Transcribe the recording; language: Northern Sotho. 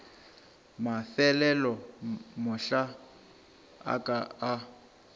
mafelelo mahlo a ka a